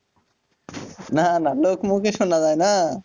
না না লোকের মুখে শোনা যায় না